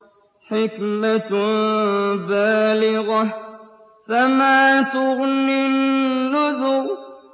حِكْمَةٌ بَالِغَةٌ ۖ فَمَا تُغْنِ النُّذُرُ